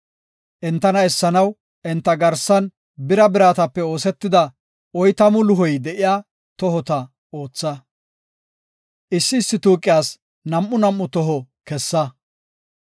Entana essanaw enta garsan bira biratape oosetida oytamu luhoy de7iya tohota ootha. Issi issi tuuqiyas nam7u nam7u toho kessa.